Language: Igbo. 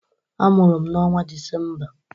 Amụrụ m n'onwa Disemba.